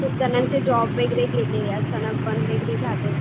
खूप जणांचे जॉब वगैरे गेले अचानक बंद वगैरे झाले.